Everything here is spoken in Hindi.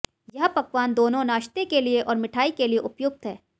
यह पकवान दोनों नाश्ते के लिए और मिठाई के लिए उपयुक्त है